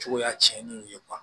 Cogoya tiɲɛnen ye